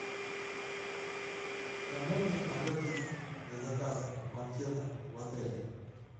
к кому мне обратиться для заказа банкета в отеле